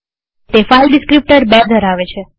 તે file descriptor ૨ ધરાવે છે